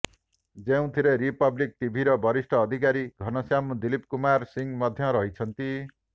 ଯେଉଁଥିରେ ରିପବ୍ଲିକ୍ ଟିଭିର ବରିଷ୍ଠ ଅଧିକାରୀ ଘନଶ୍ୟାମ ଦିଲୀପ କୁମାର ସିଂହ ମଧ୍ୟ ରହିଛନ୍ତି